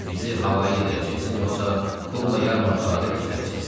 Bizi hava yeydirəcəksiz yoxsa pulla yarmarkalarda göstərəcəksiz?